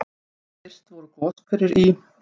Fyrst voru goshverir í